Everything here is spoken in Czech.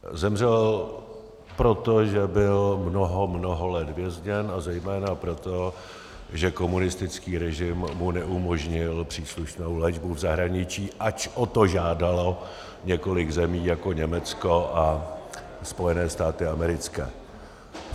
Zemřel proto, že byl mnoho, mnoho let vězněn, a zejména proto, že komunistický režim mu neumožnil příslušnou léčbu v zahraničí, ač o to žádalo několik zemí jako Německo a Spojené státy americké.